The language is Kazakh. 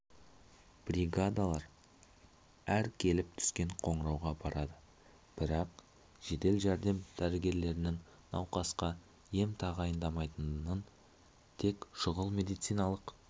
бригадалар әр келіп түскен қоңырауға барады бірақ жедел-жәрдем дәрігерлерінің науқасқа ем тағайындамайтынын тек шұғыл медициналық